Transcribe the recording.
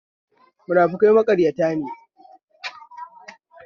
Munafukai maƙaryata ne